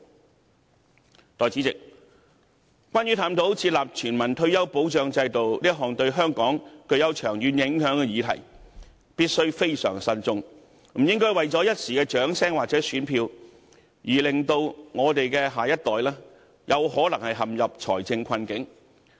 代理主席，有關探討設立全民退保制度這項對香港具長遠影響的議案，我們必須非常慎重，不應為了一時掌聲或選票，而令我們的下一代可能會陷入財政困境。